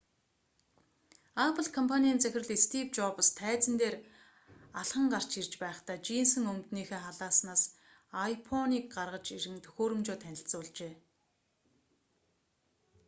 apple компанийн захирал стийв жобс тайзан дээр алхан гарч ирж байхдаа жийнсэн өмднийхөө халааснаас iphone-г гаргаж ирэн төхөөрөмжөө танилцуулжээ